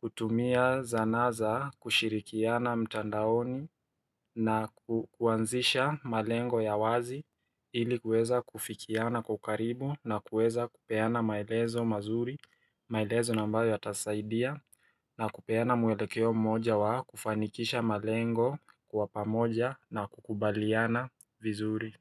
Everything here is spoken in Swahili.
kutumia zanaa za kushirikiana mtandaoni na kuanzisha malengo ya wazi ili kueza kufikiana kwa ukaribu na kuweza kupeana maelezo mazuri maelezo na ambayo yatasaidia na kupeana mwelekeo moja wa kufanikisha malengo kuwa pamoja na kukubaliana vizuri.